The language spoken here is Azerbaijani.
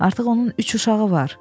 Artıq onun üç uşağı var.